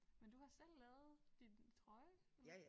Men du har selv lavet din trøje eller hvad?